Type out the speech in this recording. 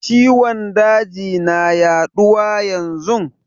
Ciwon daji na yaduwa yanzun.